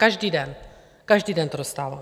Každý den, každý den je dostávám.